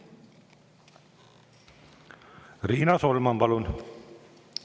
Riina Solman, palun!